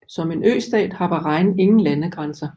Som en østat har Bahrain ingen landegrænser